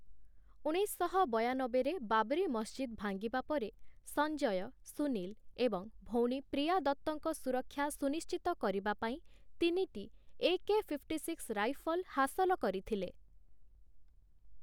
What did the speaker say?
ଉଣେଇଶଶହ ବୟାନବେରେ ବାବରି ମସଜିଦ୍‌ ଭାଙ୍ଗିବା ପରେ, ସଞ୍ଜୟ, ସୁନୀଲ ଏବଂ ଭଉଣୀ ପ୍ରିୟା ଦତ୍ତଙ୍କ ସୁରକ୍ଷା ସୁନିଶ୍ଚିତ କରିବା ପାଇଁ ତିନିଟି ଏ.କେ.ଫିପ୍ଟିସିକ୍ସ୍ ରାଇଫଲ୍ ହାସଲ କରିଥିଲେ ।